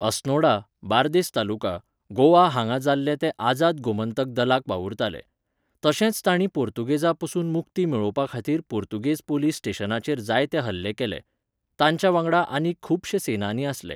अस्नोडा, बार्देस तालुका, गोवा हांगा जाल्ले ते आजाद गोंमतक दलाक वावुरताले. तशेंच तांणीं पुर्तुगेजा पसून मुक्ती मेळोवपा खातीर पुर्तुगेज पोलीस स्टेशनाचेर जायते हल्ले केल्ले. तांच्या वांगडा आनीक खुबशे सेनानी आसले.